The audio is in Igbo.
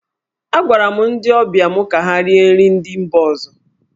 Agwara m ndị ọbịa mụ ka ha rie nri ndị mba ọzọ.